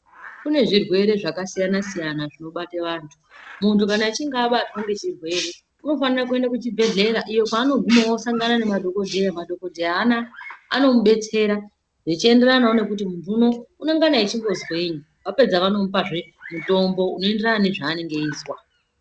Kune zvirwere zvakasiyana-siyana zvinobate vantu, Muntu kana achinge abatwa ngechirwere, unofanire kuende kuchibhedhlera, iyo kwaanoguma osangana nemadhokodheya. Madhokodheya anaya anomubetsira zvichienderanawo nekuti munhu unowu unengana echimbozweyi. Vapedza vanomupazve mutombo, unoenderana nezvaanenge eizwa.